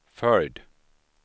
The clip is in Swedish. följd